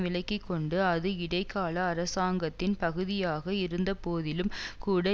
விலக்கி கொண்டு அது இடைக்கால அரசாங்கத்தின் பகுதியாக இருந்தபோதிலும் கூட